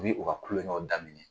Ni u ka kulonkɛw daminɛ.